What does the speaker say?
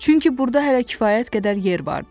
Çünki burda hələ kifayət qədər yer vardı.